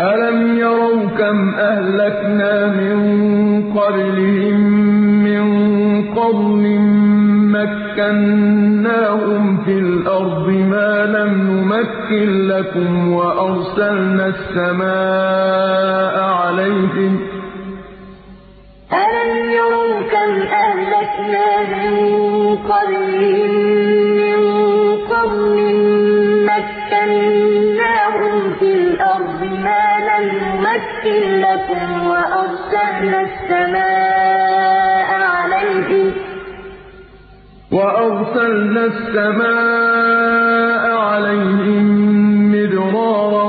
أَلَمْ يَرَوْا كَمْ أَهْلَكْنَا مِن قَبْلِهِم مِّن قَرْنٍ مَّكَّنَّاهُمْ فِي الْأَرْضِ مَا لَمْ نُمَكِّن لَّكُمْ وَأَرْسَلْنَا السَّمَاءَ عَلَيْهِم مِّدْرَارًا